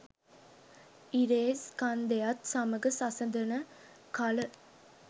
ඉරේ ස්කන්ධයත් සමඟ සසදන කල